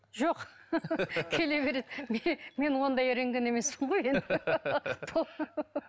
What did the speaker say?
жоқ келе береді мен ондай рентген емеспін ғой енді